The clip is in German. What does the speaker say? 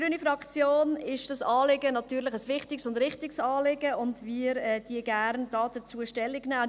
Für die Fraktion Grüne ist dieses Anliegen natürlich ein wichtiges und richtiges Anliegen, und wir nehmen gerne Stellung dazu.